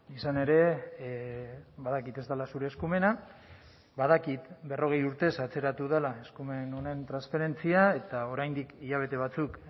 izan ere badakit ez dela zure eskumena badakit berrogei urtez atzeratu dela eskumen honen transferentzia eta oraindik hilabete batzuk